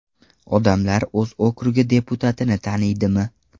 Odamlar o‘z okrugi deputatini taniydimi?